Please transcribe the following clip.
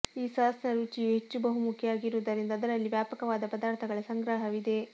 ಈ ಸಾಸ್ನ ರುಚಿಯು ಹೆಚ್ಚು ಬಹುಮುಖಿಯಾಗಿರುವುದರಿಂದ ಅದರಲ್ಲಿ ವ್ಯಾಪಕವಾದ ಪದಾರ್ಥಗಳ ಸಂಗ್ರಹವಿದೆ